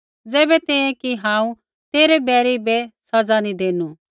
ज़ैबै तैंईंयैं कि हांऊँ तेरै बैरी बै सज़ा नी देनू